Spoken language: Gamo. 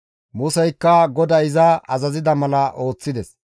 Museykka GODAY iza azazida mala ooththides.